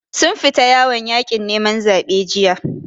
Sun fita yawon yaƙin neman zaɓe jiya.